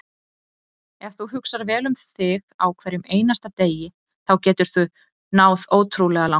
Ef þú hugsar vel um þig á hverjum einasta degi þá geturðu náð ótrúlega langt.